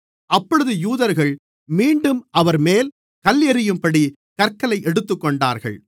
அப்பொழுது யூதர்கள் மீண்டும் அவர்மேல் கல்லெறியும்படி கற்க்களை எடுத்துக்கொண்டார்கள்